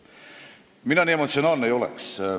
Mina nii emotsionaalne ei ole.